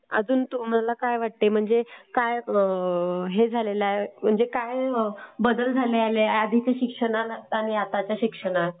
अजून तुम्हाला काय वाटतंय म्हणजे काय हे झालेलं आहे? म्हणजे काय बदल झालेला आहे आधीच्या शिक्षणांत आणि आताच्या शिक्षणात?